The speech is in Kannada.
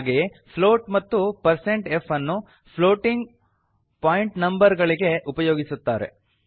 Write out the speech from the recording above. ಹಾಗೆಯೇ ಫ್ಲೋಟ್ ಮತ್ತು160f ಅನ್ನು ಫ್ಲೋಟಿಂಗ್ ಪಾಯಿಂಟ್ನಂಬರ್ ಗಳಿಗೆ ಉಪಯೋಗಿಸುತ್ತಾರೆ